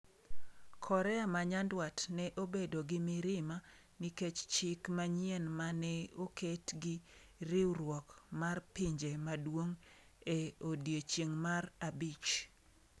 Korea ma Nyanduat ne obedo gi mirima nikech chik manyien ma ne oket gi riwruok mar Pinje Maduong’ e odiechieng’ mar abich.